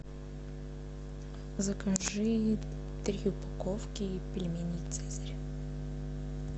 закажи три упаковки пельменей цезарь